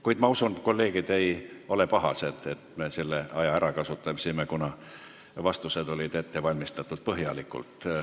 Kuid ma usun, et kolleegid ei ole pahased, et me selle aja ära kasutasime, kuna vastused olid põhjalikult ette valmistatud.